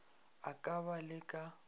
a ka ba le ka